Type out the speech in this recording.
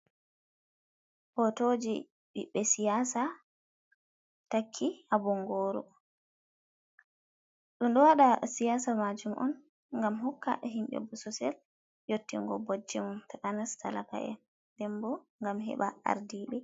Potoji ɓiɓɓe siyaasa takki haa bongooru. Ɗum ɗo waɗa siyasa majum on ngam hokka himɓe bososel yottingo bojji mum takanas talaka’en, nden bo gam heba ardiiɓe.